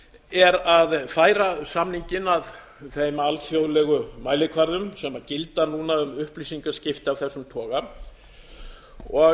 er að færa samninginn að þeim alþjóðlegu mælikvörðum sem gilda um upplýsingaskipti af þessum toga og